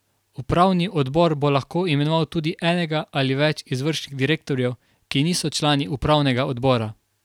Upravni odbor bo lahko imenoval tudi enega ali več izvršnih direktorjev, ki niso člani upravnega odbora.